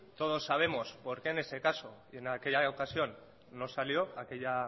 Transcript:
todos sabemos por qué en ese caso y en aquella ocasión no salió aquella